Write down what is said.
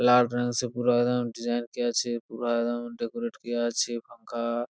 লাল রংসে পুরা একদম ডিসাইন কিয়া আছে | পুরা একদম ডেকোরেট কিয়া আছে পাঙ্খা ।